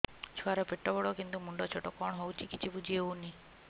ଛୁଆର ପେଟବଡ଼ କିନ୍ତୁ ମୁଣ୍ଡ ଛୋଟ କଣ ହଉଚି କିଛି ଵୁଝିହୋଉନି